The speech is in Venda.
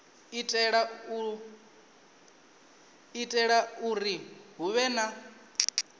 itela uri hu vhe na